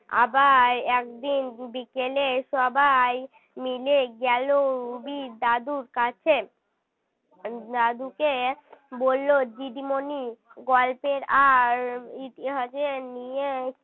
আবার একদিন বিকেলে সবাই মিলে গেল রুবির দাদুর কাছে দাদুকে বলল দিদিমণি গল্পের আর ইতিহাসের নিয়ে